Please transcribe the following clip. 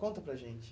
Conta para a gente.